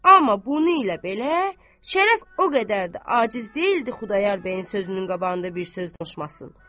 Amma bunu ilə belə, Şərəf o qədər də aciz deyildi Xudayar bəyin sözünün qabağında bir söz danışmasın.